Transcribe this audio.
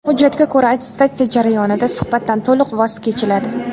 Hujjatga ko‘ra, attestatsiya jarayonida suhbatdan to‘liq voz kechiladi.